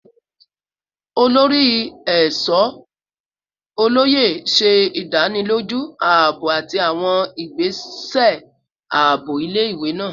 Olori Eesho Oloye ṣe idaniloju aabo ati awọn igbese aabo ile-iwe naa